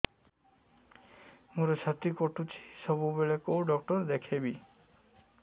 ମୋର ଛାତି କଟୁଛି ସବୁବେଳେ କୋଉ ଡକ୍ଟର ଦେଖେବି